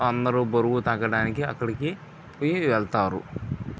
అందరు బరువు తగ్గడానికి అక్కడికి కి వెళ్తారు.